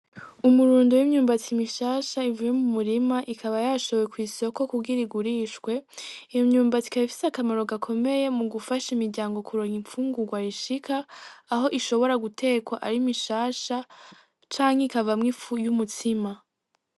Umurundo w'imyumbati mishasha ivuye mu murima ikaba yashowe kw'isoko kugira igurishwe , imyumbati ikaba ifise akamaro gakomeye mu gufasha imiryango kuronka imfungurwa ishika aho ishobora gutekwa ari mishasha canke ikavamwo ifu y'umutsima.